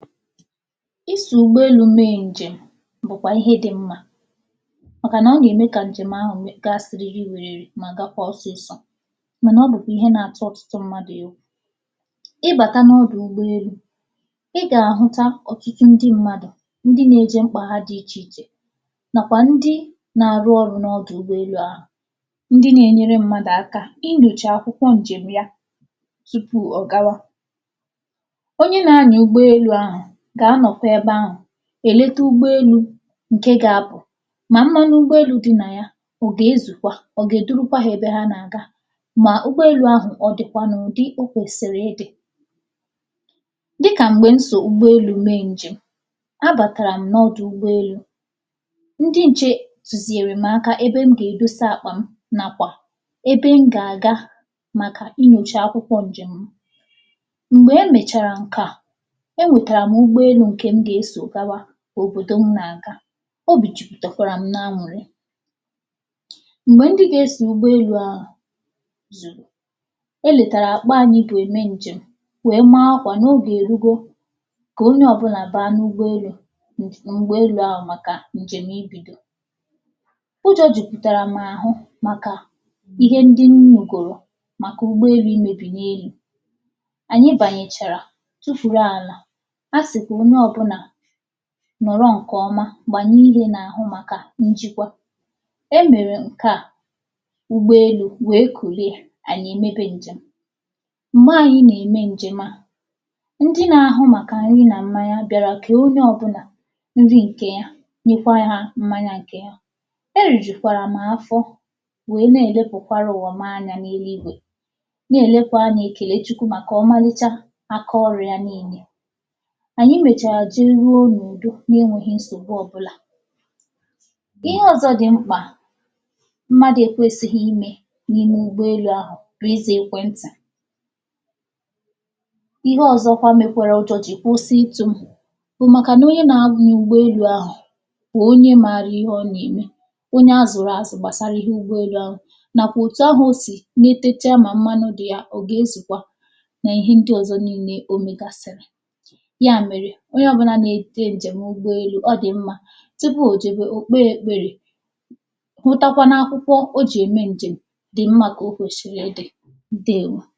isò ụgbọelū mee ǹjem bụ̀kwà ihe dị mmā màkà ọ gà-ème kà njem ahụ̀ gaa siriri wèrèrè mà gakwa ọsịsọ mànà ọ bụ̀kwà ihe na-atụ ọ̀tụtụ mmadụ̀ egwù ị bàta n’ọdụ̀ ụgbọelū ị gà-àhụcha òtụtụ ndị mmadụ̀ ndị na-ejē mkpà ha di ichè ichè nàkwà ndị na-arụ ọrụ n’ọdụ̀ ụgbọelu ahụ̀ ndị na-enyere mmadụ̀ aka inyòchà akwụkwọ ǹjèm ya tupu ọ̀ gawa onye na-anyà ụgbọelū aghà gà-anọ̀kwa ebe ahụ̀ èlete ụgbọelū ǹke ga-apụ̀ nà mmanụ ụgbọelū di nà yà ọ gà-ezùkwà ọ gà-èdurukwa ha ebe ha nà-àga mà ụgbọelū ahụ ọ dị̀kwà n’ụ̀dị o kwèsìrì ịdị̄ dịkà m̀gbè m so ụgbọelū mee ǹjèm a gàkàram n’ọdù ụgbọelū ndị ǹche tùziere m aka ebe m gà-èdosa àkpà m nàkwà ebe m gà àga màkà inyòchà akwụkwọ ǹjèm m m̀gbè e mèchàrà ǹke a m̀gbè e mèchàrà ǹke e nwètàrà m ụgbọelū ǹke m gà-esò gawa òbòdò m nà-àga obì jupụ̀tàrà m n’anụ̀rị m̀gbè ndị ga-esò ụ ahụ̀gbọelū e lètàrà àkpa ànyị bụ̀ ème ǹjèm wee maa akwà nà ogè èrugo kà onye ọ̀bụlà gbaa n’ụgbọelū m̀ m̀gbeelū ahụ̀ màkà ǹjèm ibīdo ụjọ̄ jụ̀pụ̀tàrà m àhụ maka ihe ndị m nụ̀gòrò màkà ụgbọelū imēbì n’elu ànyị bànyèchàrà tufùru àlà a sị̀ kà onye ọ̀bụla nọ̀rọ ǹkè ọma gbànye ihē màkà njikwa e mèrè ǹke a ụgboḷelū wee kùlie ànyị̀ è mebe ǹjèm m̀gbe ànyị nà-ème ǹjèm a ndị na-ahụ màkạ̀ nri nà mmanya bịàrà kee onye ọ̀bụlà ndị ǹkè ya nyekwa hā mmanya ǹkè hà e rùjùkwàrà m afọ wee na-èlepukwara ụwa mụ anyā n’eluigwe nà-èlekwa anya ekèle Chukwu màkà ọmālịchà aka ọrụ̄ ya niilē ànyị mèchàrà jeruo n’ùdo na-enwēghi nsògbu ọ̀bụlà ihe ọ̀zọ di mkpà mmadụ ekwēsighi imē n’ime ụgbọelū ahụ̀ ịzā ekwe ntì ihe ọ̀zọ mekwara ụjọ̄ jì kwụsị ịtụ̄ m bụ̀ màkànà onye na-anyà ụgbọelū ahụ̀ bụ̀ onye maara ihe ọ nà-ème onye a zụ̀rụ̀ àzụ gbàsara ihe ụgbọelū ahụ̀ nàkwà òtu ahụ̀ o sì netecha mà mmanụ nkwū ya ọ gà-ezùkwa nà ihe ndị ọ̀zọ niile o mègàsìrì ya mèrè onye ọ̀bụla na-eje ǹjèm ụgbọelū ọ dì mmā tupu ò jɛbe ò kpee ekpere hụtakwa n’akwụkwụ o jì ème ǹjèm dì mmā kà o kwèsìrì idī di